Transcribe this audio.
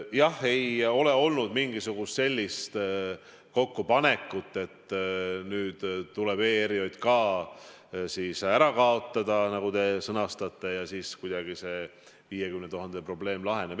Jah, ei ole olnud mingisugust sellist kokkupanekut, et nüüd tuleb ERJK ära kaotada, nagu te sõnastate, ja siis kuidagi see 50 000 probleem laheneb.